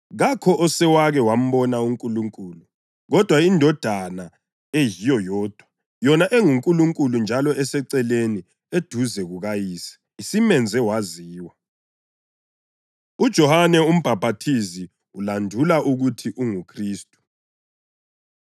Kakho osewake wambona uNkulunkulu, kodwa iNdodana eyiyo yodwa, yona enguNkulunkulu njalo eseceleni eduze kukaYise, isimenze waziwa. UJohane UMbhaphathizi Ulandula Ukuthi UnguKhristu